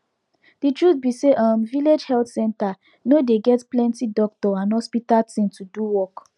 de truth be say um village health center no dey get plenti doctor and hospital thing to do work